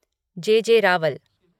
ज. ज. रावल